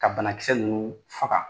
Ka banakisɛ ninnu faga